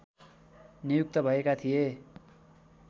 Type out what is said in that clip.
नियुक्त भएका थिए